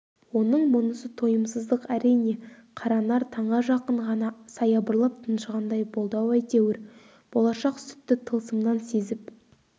оның мұнысы тойымсыздық әрине қаранар таңға жақын ғана саябырлап тыншығандай болды-ау әйтеуір болашақ сүтті тылсымнан сезіп